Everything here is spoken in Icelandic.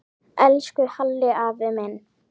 Elsku Halli afi minn.